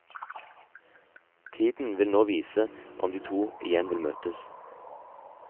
Tiden vil nå vise om de to igjen vil møtes.